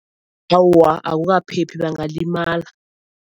Awa akukaphephi bangalimala.